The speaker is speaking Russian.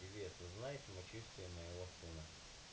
привет узнай самочувствие моего сына